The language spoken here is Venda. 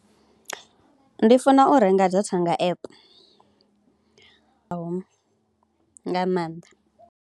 Ndi funa u renga dza data app naho nga maanḓa.